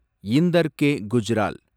Inder K. Gujral